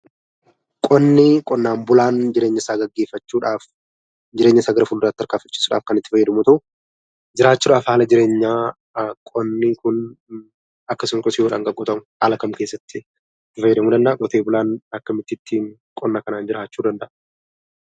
Qonni; qonnan bulaan jireenya isaa geggeeffaachuudhaaf jireenya isaa garaa filduraatti tarkaanfachisuudhaaf Kan itti faayyadamuu yoo ta'u jiraachuudhaaf haala jireenyaa qonni kun akkasuma qottiyoodhaan Kan qotamu haala kam keessatti itti faayyadamuu danda'aa qoote bulaan akkamitti qonna kanan jiraachuu danda'aa